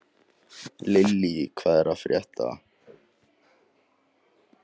Lílý, hvað er að frétta?